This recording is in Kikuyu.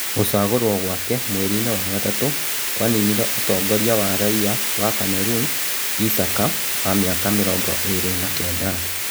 Gũcagũrwo gwake mwerinĩ wa gatatu kwaninire ũtongoria wa raia wa Kameruni Isaka wa mĩ aka mĩ rongo ĩ rĩ na kenda.